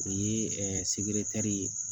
O ye sikire tari ye